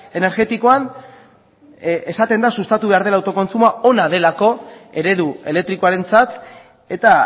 energetikoan esaten da sustatu behar dela autokontsumoa ona delako eredu elektrikoarentzat eta